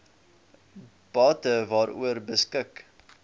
bate waaroor beskik